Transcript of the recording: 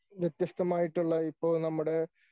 വ്യത്യസ്തമായിട്ടുള്ള ഇപ്പോ നമ്മുടെ